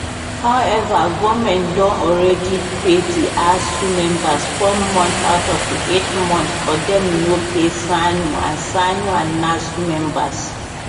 however goment don already pay di asuu members four months out of di eight months but dem no pay ssanu and ssanu and nasu members